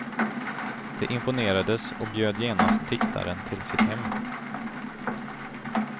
De imponerades och bjöd genast diktaren till sitt hem.